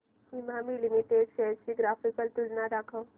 Emami limited shares ची graphical तुलना दाखव